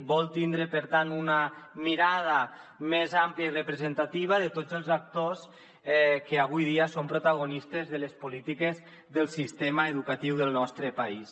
vol tindre per tant una mirada més àmplia i representativa de tots els actors que avui dia són protagonistes de les polítiques del sistema educatiu del nostre país